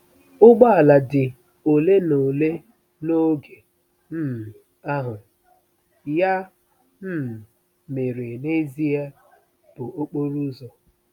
Ụgbọ ala dị ole na ole n'oge um ahụ, ya um mere, n'ezie, bụ okporo ụzọ.